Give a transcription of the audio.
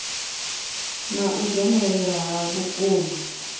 na u dzhenelela ha vhukuma